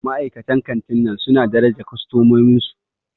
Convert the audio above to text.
Ma'aikatan kantin nan suna daraja kostomomin su.